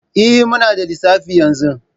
Eh, muna da lissafi yanzu